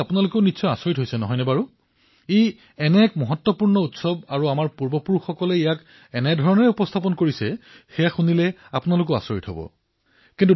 এই কথা শুনি আপোনালোকো আচৰিত হৈছে নহয় জানো এয়াইতো সেই কথা যে ই এনে এক গুৰুত্বপূৰ্ণ উৎসৱ আৰু আমাৰ পূৰ্বপুৰুষসকলে ইয়াক এনেদৰে সৃজন কৰিছিল যে সম্পূৰ্ণ কথা শুনিলে আপোনালোকে আশ্বৰ্যচকিত হৈ উঠিব